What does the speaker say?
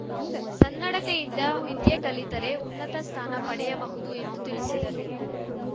ಸನ್ನಡತೆಯಿಂದ ವಿದ್ಯೆ ಕಲಿತರೆ ಉನ್ನತ ಸ್ಥಾನ ಪಡೆಯಬಹುದು ಎಂದು ತಿಳಿಸಿದರು